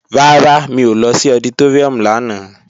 Rárá, mi ò lọ sí ọditóríùm lánàá